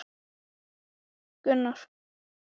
Svo kölluðu þeir nafn mitt aftur.